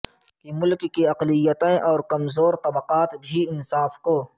کہ ملک کی اقلیتیں اور کمزور طبقات بھی انصاف کو